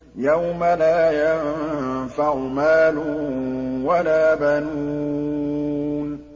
يَوْمَ لَا يَنفَعُ مَالٌ وَلَا بَنُونَ